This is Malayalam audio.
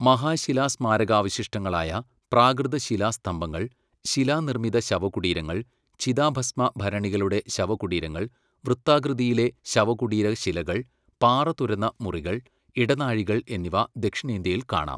മഹാശിലാസ്മാരകാവശിഷ്ടങ്ങളായ പ്രാകൃതശിലാസ്തംഭങ്ങൾ, ശിലാനിർമ്മിത ശവകുടീരങ്ങൾ, ചിതാഭസ്മ ഭരണികളുടെ ശവകുടീരങ്ങൾ, വൃത്താകൃതിയിലെ ശവകുടീരശിലകൾ, പാറ തുരന്ന മുറികൾ, ഇടനാഴികൾ എന്നിവ ദക്ഷിണേന്ത്യയിൽ കാണാം.